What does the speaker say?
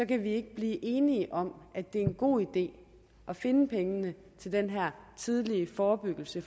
kan vi ikke blive enige om at det er en god idé at finde pengene til den her tidlige forebyggelse